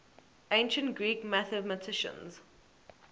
ancient greek mathematicians